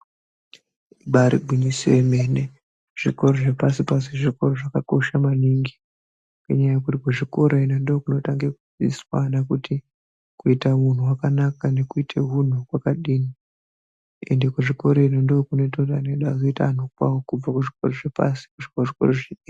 Ibaari gwinyiso remene, zvikora zvepashi-pashi zvakakosha maningi. Ngenyaya yekuti kuzvikora ino ndokunotanga kufundiswa vana kuti kuita nekuita hunthu hwakanaka nekuita hunthu kwakadini. Ende kuzvikora ino ndo kunoita kuti ana edu azoita anthu kwawo kubva kuzvikora zvepashi-pashi kuguma kuzvikora zvepa dera.